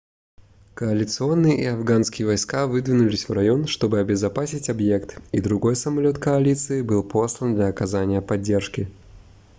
коалиционные и афганские войска выдвинулись в район чтобы обезопасить объект и другой самолет коалиции был послан для оказания поддержки